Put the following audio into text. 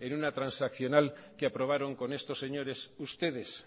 en una transaccional que aprobaron con estos señores ustedes